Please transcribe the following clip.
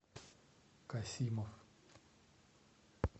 касимов